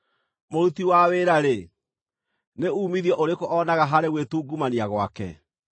Mũruti wa wĩra-rĩ, nĩ uumithio ũrĩkũ oonaga harĩ gwĩtungumania gwake?